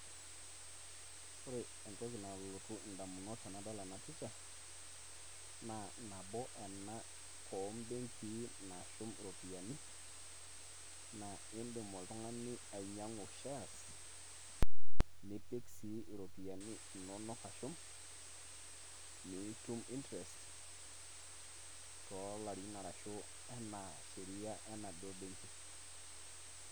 Ore entoki nalotu indamunot tenadol ena picha, naa nabo ena obenkii naashum iropiyiani, na idim oltung'ani ainyang'u shares ,nipik sii iropiyiani inonok ashum, nitum interest tolarin arashu enaa sheria enaduo benki.